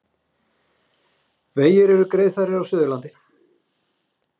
Vegir eru greiðfærir á Suðurlandi